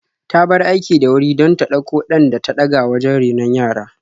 Ta bar aiki da wuri don ta ɗauko ɗan ta daga wajen renon yara.